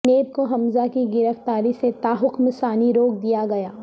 NAB کو حمزہ کی گرفتاری سے تاحکم ثانی روک دیا گیا